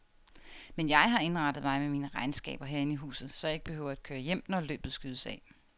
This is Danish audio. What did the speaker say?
Men jeg har indrettet mig med mine regnskaber herinde i huset, så jeg ikke behøver at køre hjem, når løbet skydes af.